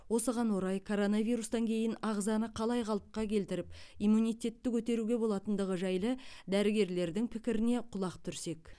осыған орай коронавирустан кейін ағзаны қалай қалыпқа келтіріп иммунитетті көтеруге болатындығы жайлы дәрігерлердің пікірлеріне құлақ түрсек